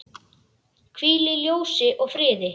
Hvíl í ljósi og friði.